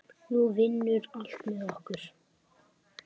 Nú vinnur allt með okkur.